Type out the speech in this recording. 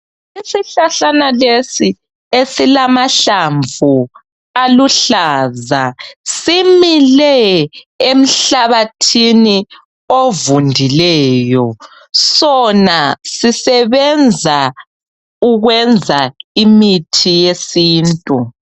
Isihlahlana lesi esilamahlamvu aluhlaza simile emhlabathini ovundileyo sona sisebenza ukwenza imithi yesintu.